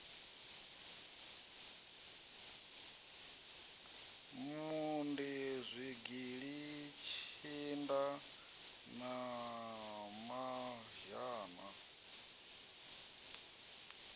mondi zwigili tshinda na mazhana